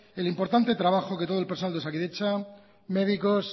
el importante trabajo que todo el personal de osakidetza médicos